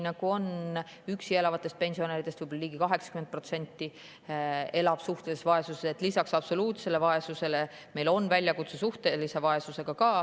Üksi elavatest pensionäridest ligi 80% elab suhtelises vaesuses, nii et meil on väljakutse ka suhtelise vaesusega.